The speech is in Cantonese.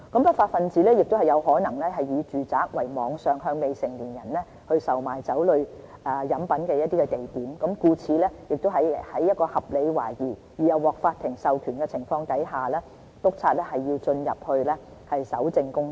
不法分子亦有可能以住宅作為網上向未成年人售賣酒類飲品的地點，故此在有合理懷疑而又獲法庭授權的情況下，督察是要進入住宅進行搜證工作。